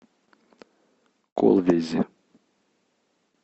колвези